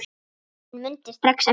Hún mundi strax eftir